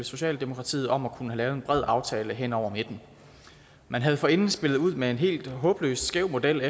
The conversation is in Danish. socialdemokratiet om at kunne have lavet en bred aftale hen over midten man havde forinden spillet ud med en helt håbløs skæv model